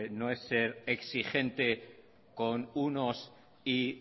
no es ser exigente con unos y